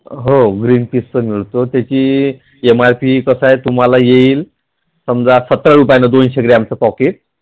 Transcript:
हो ते पण मिळतो त्याची MRP कशी येईल समजा सत्तर रुपयाला दोनशे ग्रॅमच श्रीरामच Pocket